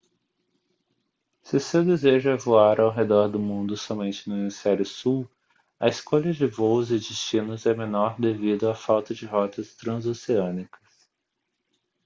se o seu desejo é voar ao redor do mundo somente no hemisfério sul a escolha de voos e destinos é menor devido à falta de rotas transoceânicas